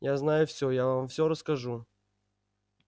я знаю всё я вам всё расскажу